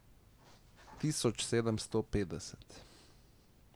Tisoč sedemsto petdeset.